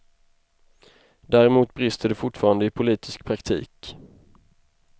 Däremot brister det fortfarande i politisk praktik.